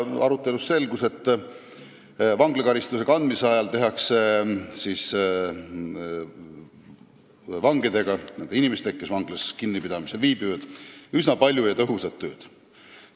Arutelust selgus, et vanglakaristuse kandmise ajal tehakse vangidega, nende inimestega, kes vanglas kinnipidamisel viibivad, üsna palju ja tõhusat tööd.